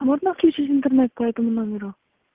а можно отключить интернет по этому номеру